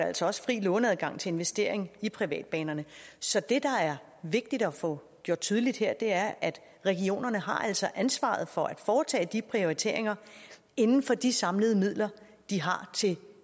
altså også fri låneadgang til investering i privatbanerne så det der er vigtigt at få gjort tydeligt her er at regionerne altså har ansvaret for at foretage de prioriteringer inden for de samlede midler de har til